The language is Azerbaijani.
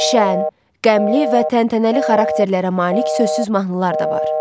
Şən, qəmli və təntənəli xarakterlərə malik sözsüz mahnılar da var.